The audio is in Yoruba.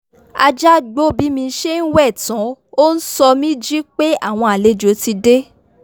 ajá gbó bí mi ṣe ń wẹ̀ tán ó ń sọ mí jí pé àwọn àlejò ti dé